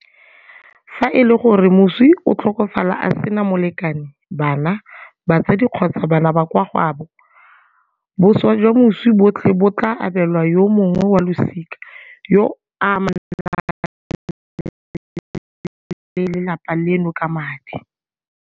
Fa e le gore moswi o tlhokafala a sena molekane, bana, batsadi kgotsa bana ba kwa gaabo, boswa jwa moswi botlhe bo tla abelwa yo mongwe wa losika yo a amanang le lelapa leno ka madi.